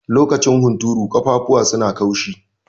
Lokacin hunturu, ƙafafuwa su na kaushi.